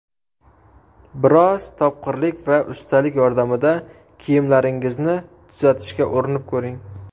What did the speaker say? Biroz topqirlik va ustalik yordamida kiyimlaringizni tuzatishga urinib ko‘ring.